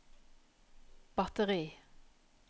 batteri